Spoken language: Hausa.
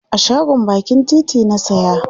a shagon bakin titi na saya